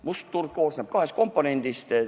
Must turg koosneb kahest komponendist.